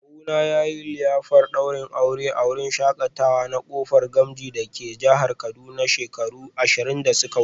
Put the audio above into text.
Kawuna yayi liyafar daurin aure a wurin shakatawa na Kofar Gamji dake jihar Kaduna shekaru ashirin da suka wuce